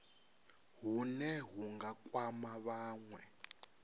hune hu nga kwama vhanwe